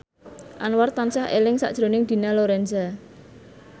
Anwar tansah eling sakjroning Dina Lorenza